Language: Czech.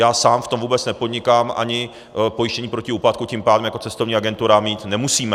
Já sám v tom vůbec nepodnikám, ani pojištění pro úpadku čím pádem jako cestovní agentura mít nemusíme.